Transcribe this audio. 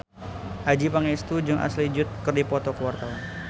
Adjie Pangestu jeung Ashley Judd keur dipoto ku wartawan